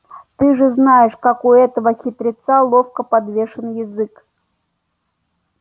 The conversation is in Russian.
ты же знаешь как у этого хитреца ловко подвешен язык